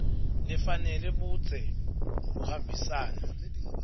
lefanele budze buhambisana